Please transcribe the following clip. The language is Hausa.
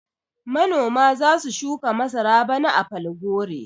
Manoma za su shuka masara bana a Falgore.